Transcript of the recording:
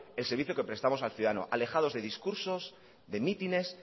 el servicio que prestamos al ciudadano alejados de discursos de mítines